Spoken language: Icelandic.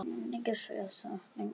Við munum öll sakna hennar.